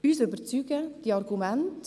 Uns überzeugen die Argumente.